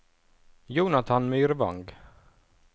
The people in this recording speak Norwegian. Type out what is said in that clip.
Jonathan Myrvang